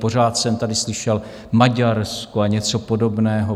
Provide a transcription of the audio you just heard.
Pořád jsem tady slyšel Maďarsko a něco podobného.